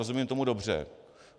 Rozumím tomu dobře?